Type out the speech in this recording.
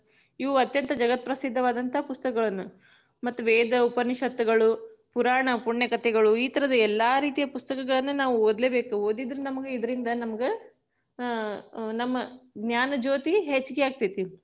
ಇವು ಅತ್ಯಂತ ಜಗತ್ ಪ್ರಸಿದ್ಧವಾದಂತ ಪುಸ್ತಕಗಳನ್ನು, ಮತ್ತ ವೇದ ಉಪನಿಷತ್ತುಗಳು, ಪುರಾಣ ಪುಣ್ಯಕಥೆಗಳು ಈತರದ ಎಲ್ಲಾ ರೀತಿಯ ಪುಸ್ತಕಗಳನ್ನು ನಾವು ಓದ್ಲೇಬೇಕು, ಓದಿದ್ರ ನಮ್ಗ ಇದ್ರಿಂದ ನಮಗ, ಅಹ್ ನಮ್ಮ ಜ್ಞಾನ ಜ್ಯೋತಿ ಹೆಚ್ಗಿ ಆಗ್ತೇತಿ.